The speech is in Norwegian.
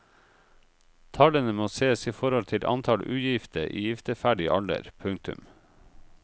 Tallene må sees i forhold til antall ugifte i gifteferdig alder. punktum